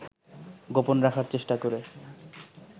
গোপন রাখার চেষ্টা করে